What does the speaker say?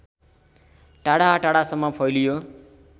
टाढाटाढासम्म फैलियो